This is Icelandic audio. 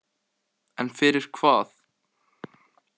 En fyrir hvað?